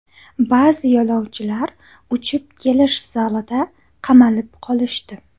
Ba’zi yo‘lovchilar uchib kelish zalida qamalib qolishdi.